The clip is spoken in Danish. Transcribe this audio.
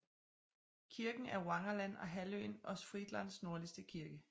Kirken er Wangerland og halvøen Ostfrieslands nordligste kirke